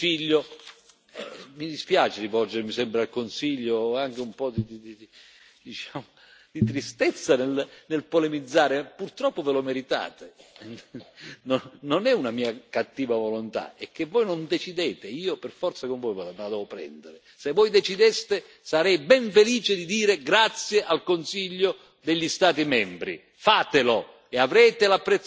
Ora, non si può dire da parte del Consiglio e mi dispiace rivolgermi sempre al Consiglio, ho anche un po', diciamo, di tristezza nel polemizzare, purtroppo ve lo meritate, non è una mia cattiva volontà, è che voi non decidete, e io per forza con voi me la devo prendere, se voi decideste, sarei ben felice di dire grazie al Consiglio degli Stati membri.